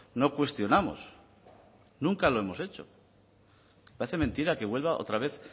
no cuestionamos nunca lo hemos hecho parece mentira que vuelva otra vez